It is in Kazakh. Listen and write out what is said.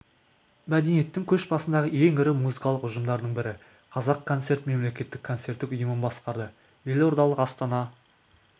мәдениеттің көш басындағы ең ірі музыкалық ұжымдардың бірі қазақ концерт мемлекеттік концерттік ұйымын басқарды елордалық астана